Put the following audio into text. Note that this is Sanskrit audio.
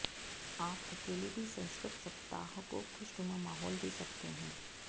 आप अकेले भी संस्कृत सप्ताह को खुशनुमा माहौल दे सकते हैं